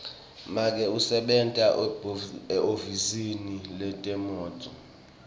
make usebenta ehhovisi letemnotfo